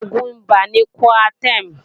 Oògùn ibà ni Coartem